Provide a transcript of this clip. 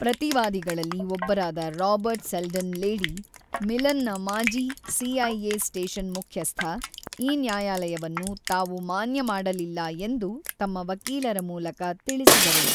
ಪ್ರತಿವಾದಿಗಳಲ್ಲಿ ಒಬ್ಬರಾದ Robert Seldon Lady, ಮಿಲನ್‌ನ ಮಾಜಿ ಸಿ.ಐ.ಎ ಸ್ಟೇಷನ್ ಮುಖ್ಯಸ್ಥ, ಈ ನ್ಯಾಯಾಲಯವನ್ನು ತಾವು ಮಾನ್ಯ ಮಾಡಲಿಲ್ಲ ಎಂದು ತಮ್ಮ ವಕೀಲರ ಮೂಲಕ ತಿಳಿಸಿದರು.